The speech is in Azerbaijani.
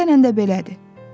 Əksərən də belədir.